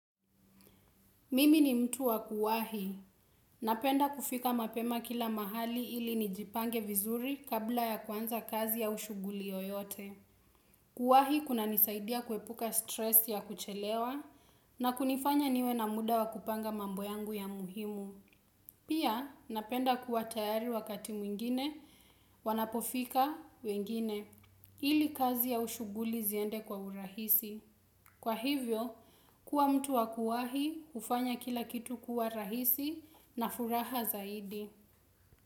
Mimi ni mtu wa kuwahi. Napenda kufika mapema kila mahali ili nijipange vizuri kabla ya kwanza kazi au shughuli yoyote. Kuwahi kunanisaidia kuepuka stress ya kuchelewa na kunifanya niwe na muda wa kupanga mambo yangu ya muhimu. Pia, napenda kuwa tayari wakati mwingine, wanapofika, wengine. Ili kazi au shughuli ziende kwa urahisi. Kwa hivyo, kuwa mtu wa kuwahi hufanya kila kitu kuwa rahisi na furaha zaidi.